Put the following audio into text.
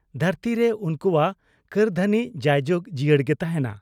ᱫᱷᱟᱹᱨᱛᱤᱨᱮ ᱩᱱᱠᱩᱣᱟᱜ ᱠᱟᱹᱨᱫᱷᱟᱹᱱᱤ ᱡᱟᱭ ᱡᱩᱜᱽ ᱡᱤᱭᱟᱹᱲ ᱜᱮ ᱛᱟᱦᱮᱸᱱᱟ ᱾